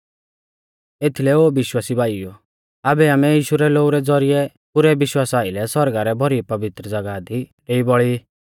एथीलै ओ विश्वासी भाईओ आबै आमै यीशु रै लोऊ रै ज़ौरिऐ पुरै विश्वासा आइलै सौरगा रै भौरी पवित्र ज़ागाह दी डेई बौल़ी ई